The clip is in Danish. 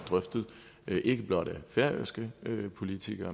drøftet ikke blot med færøske politikere